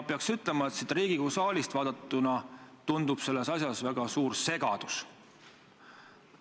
Pean ütlema, et siit Riigikogu saalist vaadatuna tundub selles asjas olevat väga suur segadus ...